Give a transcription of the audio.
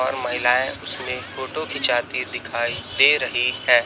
और महिलाएं उसमें फोटो खींचाती दिखाई दे रही हैं।